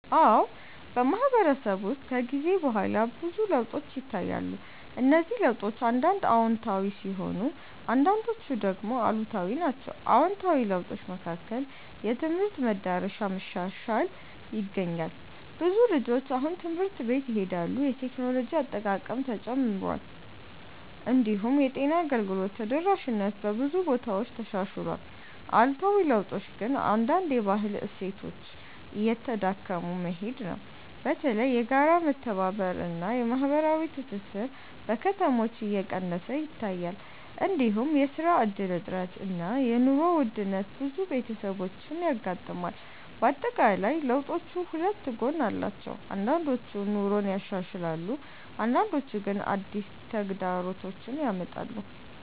አዎ፣ በማህበረሰብ ውስጥ ከጊዜ በኋላ ብዙ ለውጦች ይታያሉ። እነዚህ ለውጦች አንዳንድ አዎንታዊ ሲሆኑ አንዳንዶቹ ደግሞ አሉታዊ ናቸው። አዎንታዊ ለውጦች መካከል የትምህርት መዳረሻ መሻሻል ይገኛል። ብዙ ልጆች አሁን ትምህርት ቤት ይሄዳሉ፣ የቴክኖሎጂ አጠቃቀምም ተጨምሯል። እንዲሁም የጤና አገልግሎት ተደራሽነት በብዙ ቦታዎች ተሻሽሏል። አሉታዊ ለውጦች ግን አንዳንድ የባህል እሴቶች እየተዳከሙ መሄድ ነው። በተለይ የጋራ መተባበር እና የማህበራዊ ትስስር በከተሞች እየቀነሰ ይታያል። እንዲሁም የስራ እድል እጥረት እና የኑሮ ውድነት ብዙ ቤተሰቦችን ያጋጥማል። በአጠቃላይ ለውጦቹ ሁለት ጎን አላቸው፤ አንዳንዶቹ ኑሮን ያሻሽላሉ አንዳንዶቹ ግን አዲስ ተግዳሮቶች ያመጣሉ።